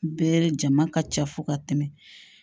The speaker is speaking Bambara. Bɛɛ jama ka ca fo ka tɛmɛ